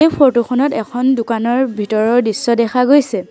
এই ফটো খনত এখন দোকানৰ ভিতৰৰ দৃশ্য দেখা গৈছে।